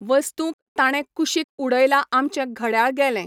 वस्तूंक ताणें कुशीक उडयला आमचें घडयाळ गेलें.